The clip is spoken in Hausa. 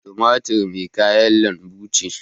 Tumatur ma kayan lanbu ce.